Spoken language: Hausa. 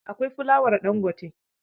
Akwai fulawar Ɗangote.